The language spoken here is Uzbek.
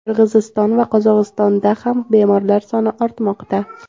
Qirg‘iziston va Qozog‘istonda ham bemorlar soni ortmoqda.